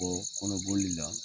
Bɔ kɔnɔboli la